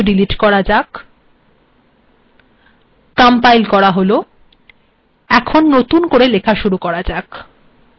তার আগে আমরা এগুলি সবডিলিট করে দেবো কম্পাইল করা হল এবং নতুন করে লেখা শুরু করা হল